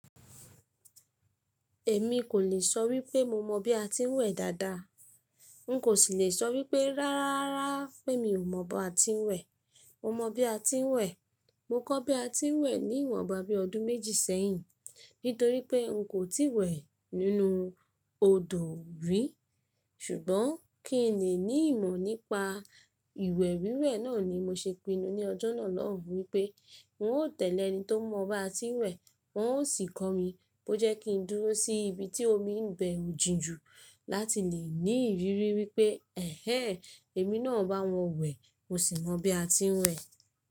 Èmi kò lè sọ wípé mo mọ bí a ti ń wẹ̀ dáadáa. N kò sì lè sọ wípé ráráá pé mi ò mọ bí a ti ń wẹ̀. Mo mọ bí a ti ń wẹ̀. Mo kọ́ bí a ti ń wẹ̀ ní ìwọ̀nba bí ọdún méjì sẹ́yìn, nítorí pé n kò tíì wẹ̀ nínú odò rí. Ṣùgbọ́n kí n lè ní ìmọ̀ nípa ìwẹ̀ wíwẹ̀ náà ni mo ṣe pinnu ní ọjọ́ náà lọ́hun wípé n ó tẹ̀lẹ́ ẹni tó mọ bí a ti ń wẹ̀, won ó sì kọ́ mi, bó jẹ́ kí n dúró sí ibi tí omi ibẹ ò jìn jù, láti lè ní ìrírí wípé, “ẹhẹ́n!, èmi náà bá wọn wẹ̀, mo sì mọ bí a ti ń wẹ̀.”